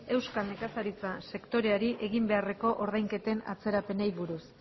euskal nekazaritza sektoreari egin beharreko ordainketen atzerapenei buruz